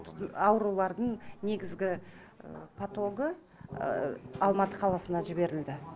аурулардың негізгі потогы алматы қаласына жіберілді